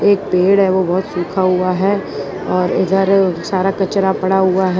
एक पेड़ है वो बहोत सुखा हुआ है और इधर सारा कचरा पड़ा हुआ है।